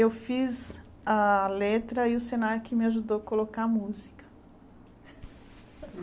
Eu fiz a letra e o Senac me ajudou a colocar a música.